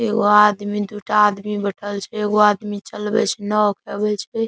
एगो आदमी दू टा आदमी बएठल छै एगो आदमी चलवे छै नाव के --